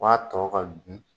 Maa tɔw ka dun